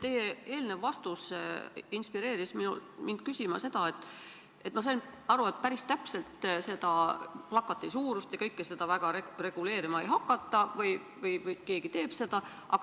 Teie eelnev vastus inspireeris mind küsima seda, et – ma sain aru, et päris täpselt plakati suurust ja kõike seda väga reguleerima ei hakata või keegi siiski teeb seda?